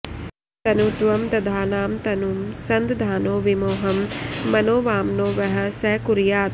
तनुत्वं दधानां तनुं सन्दधानो विमोहं मनो वामनो वः स कुर्यात्